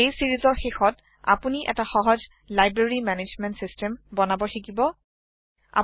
এই চিৰিজৰ শেষত আপুনি এটা সহজ লাইব্ৰেৰী মেনেজমেণ্ত চিষ্টেম বনাব শিকিম